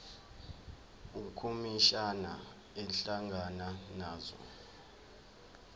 ukhomishana ehlangana nazo